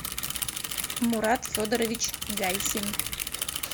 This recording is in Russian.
мурат федорович гайсин